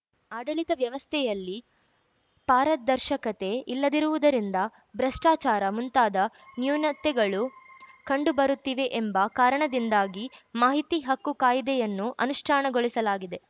ಆಡಳಿತ ವ್ಯವಸ್ಥೆಯಲ್ಲಿ ಪಾರದರ್ಶಕತೆ ಇಲ್ಲದಿರುವುದರಿಂದ ಭಷ್ಟಾಚಾರ ಮುಂತಾದ ನ್ಯೂನತೆಗಳು ಕಂಡುಬರುತ್ತಿವೆ ಎಂಬ ಕಾರಣದಿಂದಾಗಿ ಮಾಹಿತಿ ಹಕ್ಕು ಕಾಯಿದೆಯನ್ನು ಅನುಷ್ಠಾನಗೊಳಿಸಲಾಗಿದೆ